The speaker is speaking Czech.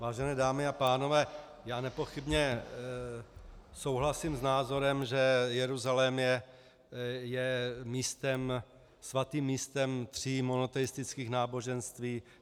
Vážené dámy a pánové, já nepochybně souhlasím s názorem, že Jeruzalém je svatým místem tří monoteistických náboženství.